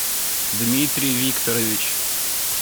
дмитрий викторович